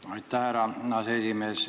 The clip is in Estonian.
Aitäh, härra aseesimees!